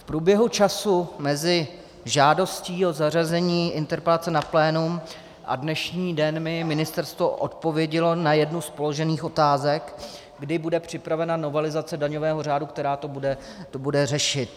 V průběhu času mezi žádostí o zařazení interpelace na plénum a dnešní den mi ministerstvo odpovědělo na jednu z položených otázek, kdy bude připravena novelizace daňového řádu, která to bude řešit.